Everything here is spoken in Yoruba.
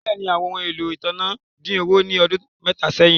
Bẹ́ẹ̀ni, àwọn ọhun ẹ̀lọ́ ìtànà dín owo ni ọdún mẹta sẹ́hìn